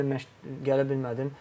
Deyir müəllim məşq gələ bilmədim.